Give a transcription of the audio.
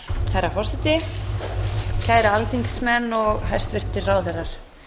herra forseti kæru alþingismenn og hæstvirtir ráðherrar